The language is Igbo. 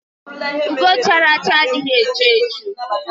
Ugo chara acha adịghị echu echu